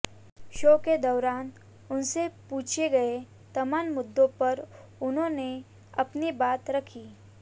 show के दौरान उनसे पूछे गए तमाम मुद्दों पर उन्होंने अपनी बात रखी